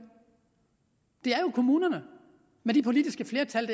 det er jo kommunerne med de politiske flertal